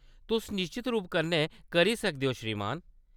तुस निश्चत रूप कन्नै करी सकदे ओ, श्रीमान।